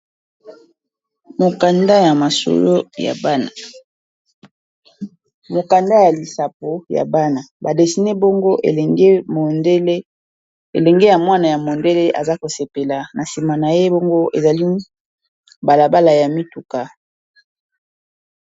Mokanda ya lisapo ya bana ba dessiner bongo elenge ya mwana ya mondele aza ko sepela na sima na ye bongo ezali balabala ya mituka .